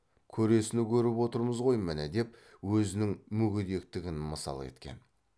көресіні көріп отырмыз ғой міні деп өзінің мүгедектігін мысал еткен